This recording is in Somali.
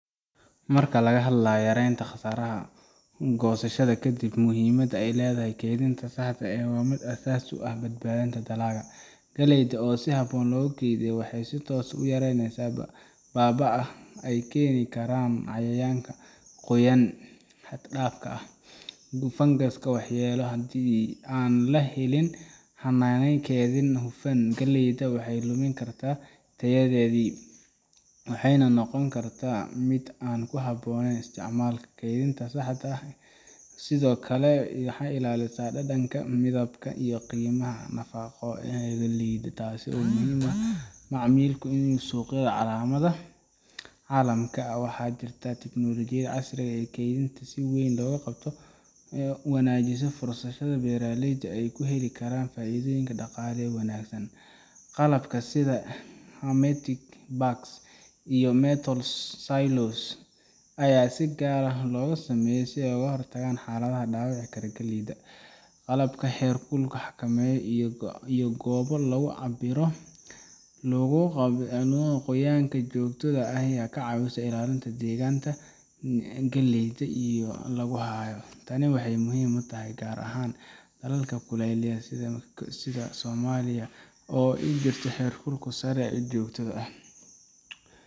Marka laga hadlayo yaraynta khasaaraha goosashada ka dib, muhiimadda ay leedahay kaydinta saxda ahi waa mid aasaasi u ah badbaadinta dalagga. Galleyda oo si habboon loo kaydiyo waxay si toos ah u yareysaa baaba’ka ay keeni karaan cayayaanka, qoyaan xad dhaaf ah, iyo fangas waxyeelo leh. Haddii aan la helin hannaan kaydin oo hufan, galleyda waxay lumi kartaa tayadeedii, waxayna noqon kartaa mid aan ku habboonayn isticmaalka. Kaydinta saxda ahi waxay sidoo kale ilaalisaa dhadhanka, midabka, iyo qiimaha nafaqo ee galleyda, taasoo muhiim u ah macmiilka iyo suuqyada caalamka. Waxaa jirta in tiknoolajiyada casriga ah ee kaydinta ay si weyn u wanaajiso fursadaha beeraleydu ay ku heli karaan faa’iido dhaqaale oo wanaagsan. Qalabka sida hermetic bags iyo metal silos ayaa si gaar ah loogu sameeyay si ay uga hortagaan xaaladaha dhaawici kara galleyda. Qolalka heerkulka la xakameeyo iyo goobo lagu cabbiro qoyaan joogto ah ayaa ka caawiya ilaalinta degganaanta deegaanka galleyda lagu hayo. Tani waxay muhiim u tahay gaar ahaan dalalka kulaylaha sida Soomaaliya oo ay jirto heerkul sare iyo huur joogto ah.